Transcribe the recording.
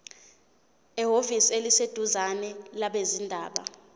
ehhovisi eliseduzane labezindaba